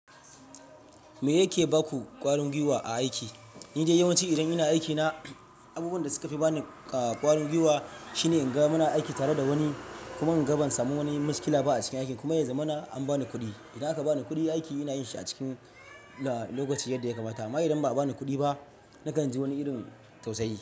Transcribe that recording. Me yake baku ƙwarin guiwa a aiki? Ni dai yawanci idan ina aikina, abubuwan da suka fi bani ƙwarin guiwa shine in ga muna aiki tare da wani kuma in ga ban samu wani miskila ba a cikin aikin kuma ya zamana an bani kuɗi. Idan aka bani kuɗi, aiki ina yin shi a cikin lokacin yadda ya kamata. Amma idan ba a bani kuɗi ba, nakan ji wani irin tausayi.